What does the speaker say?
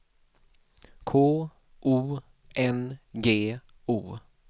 K O N G O